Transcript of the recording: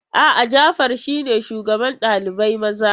A'a, Jafar shine shugaban ɗalibai maza.